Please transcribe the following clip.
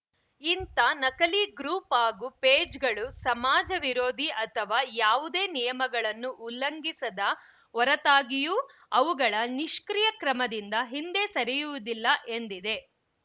ಇಂಥ ನಕಲಿ ಗ್ರೂಪ್‌ ಹಾಗೂ ಪೇಜ್‌ಗಳು ಸಮಾಜ ವಿರೋಧಿ ಅಥವಾ ಯಾವುದೇ ನಿಯಮಗಳನ್ನು ಉಲ್ಲಂಘಿಸದ ಹೊರತಾಗಿಯೂ ಅವುಗಳ ನಿಷ್ಕ್ರಿಯ ಕ್ರಮದಿಂದ ಹಿಂದೆ ಸರಿಯುವುದಿಲ್ಲ ಎಂದಿದೆ